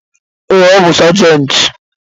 Ee, ọ bu sajenti